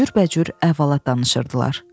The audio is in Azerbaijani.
Cürbəcür əhvalat danışırdılar.